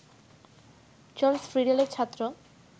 Charles ফ্রিডেলের ছাত্র